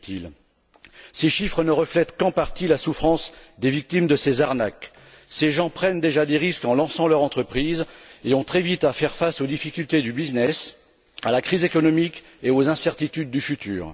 Busuttil. Ces chiffres ne reflètent qu'en partie la souffrance des victimes de ces arnaques. Ces gens prennent déjà des risques en lançant leur entreprise et ont très vite à faire face aux difficultés du business, à la crise économique et aux incertitudes du futur.